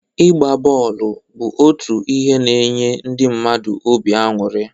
Ịgba bọọlụ bụ otu ihe n'nye ndi mmadụ obi aṅụrị.